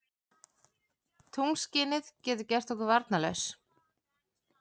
Tunglskinið getur gert okkur varnarlaus.